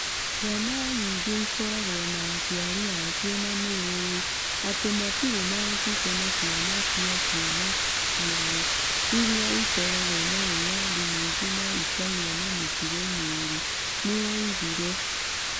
"Ciana nyingĩ ikoragwo na aciari a cio na nĩ ũĩ atĩ matirĩ na ũcuke na ciana cia ciana ciao iria ikoragwo na wĩyathi mũingĩ na ikagĩa na mĩtugo mĩũru", nĩoigire.